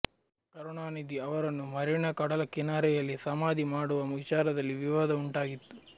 ಕರುಣಾನಿಧಿ ಅವರನ್ನು ಮರೀನಾ ಕಡಲ ಕಿನಾರೆಯಲ್ಲಿ ಸಮಾಧಿ ಮಾಡುವ ವಿಚಾರದಲ್ಲಿ ವಿವಾದ ಉಂಟಾಗಿತ್ತು